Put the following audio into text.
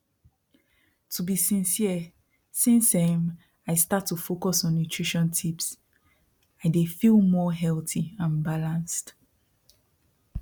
to be sincere since um i start to focus on nutrition tips i dey feel more healthy and balanced